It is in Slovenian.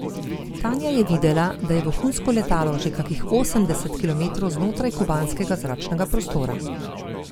Tanja je videla, da je vohunsko letalo že kakih osemdeset kilometrov znotraj kubanskega zračnega prostora.